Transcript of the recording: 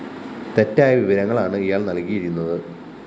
തെറ്റായ വിവരങ്ങളാണ് ഇയാള്‍ നല്‍കിയിരുന്നത്